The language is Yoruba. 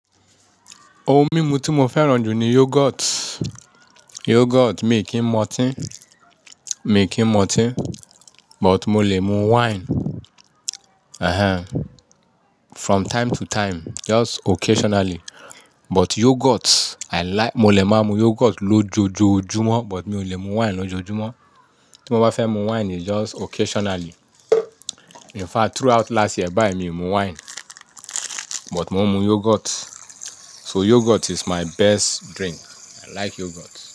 Ohun mímu tí mo fẹ́ràn jù ni yoghurt. Yoghurt mi kì ń mu ọtín, mi kì ń mu ọtín, but mo lè mu wine. Ehen. From time to time, just occasionally. But yoghurt i like-- mo lè máa mu yoghurt lójoojúmọ́, but mi ò lè mu wine lójoojúmọ́. Tí mo bá fẹ́ mu wine, it's just occasionally. In fact, throughout last year báyìí mi ò mu wine, but mo ń mu yoghurt. So yoghurt is my best drink. I like yoghurt.